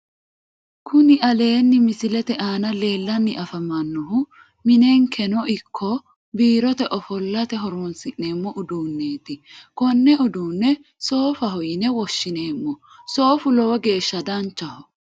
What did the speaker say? Kuni aleenni misilete aana leellanni afamannohu minenkeno ikko biirote ofollate horonsi'neemmo uduunneeti konne uduunne soofaho yine woshshineemmo soofu lowo geeshsha danchaho